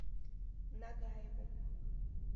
нагаеву